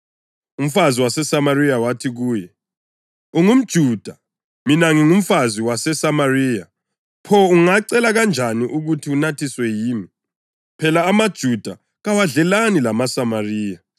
Umfazi waseSamariya wathi kuye, “UngumJuda, mina ngingumfazi waseSamariya. Pho ungacela kanjani ukuthi unathiswe yimi?” (Phela amaJuda kawadlelani lamaSamariya.)